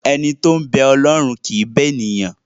Ẹni tó ń bẹ Ọlọ́run kì í bẹ ènìyàn.